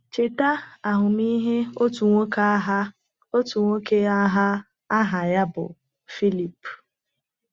Cheta ahụmịhe otu nwoke agha otu nwoke agha aha ya bụ Phillip.